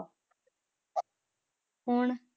ਹੁਣ